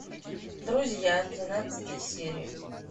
друзья тринадцатая серия